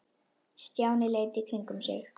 Stjáni leit í kringum sig.